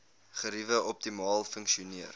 geriewe optimaal funksioneer